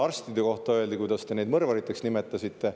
Siis meenub mulle, kuidas te arste mõrvariteks nimetasite.